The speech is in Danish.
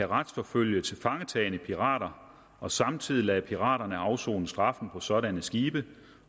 retsforfølge tilfangetagne pirater og samtidig lade piraterne afsone straffen på sådanne skibe